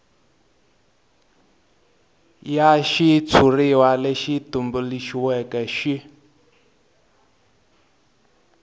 xa xitshuriwa lexi tumbuluxiweke xi